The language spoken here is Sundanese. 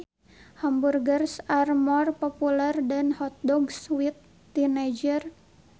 Hamburgers are more popular than hot dogs with teenagers